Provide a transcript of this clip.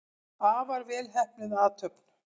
Afar vel heppnuð athöfn.